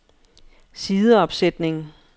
sideopsætning